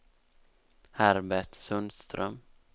Herbert Sundström